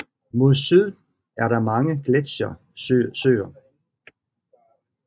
Mod syd er der mange gletsjersøer